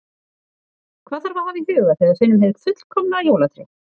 Hvað þarf að hafa í huga þegar við finnum hið fullkomna jólatré?